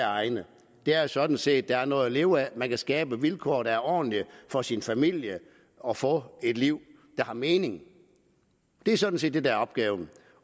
egne er sådan set at der er noget at leve af at man kan skabe vilkår der er ordentlige for sin familie og få et liv der har mening det er sådan set det der er opgaven